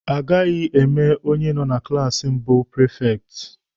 A gaghị eme onye nọ na klaasi mbụ prifekti.